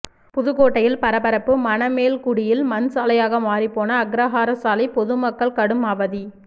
புதுக்கோட்டையில் பரபரப்பு மணமேல்குடியில் மண் சாலையாக மாறிப்போன அக்ரஹார சாலை பொதுமக்கள் கடும் அவதி